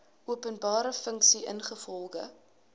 openbare funksie ingevolge